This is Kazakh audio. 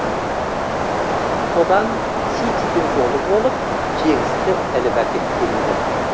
содан ситидің жолы болып жеңісті іліп әкеткен еді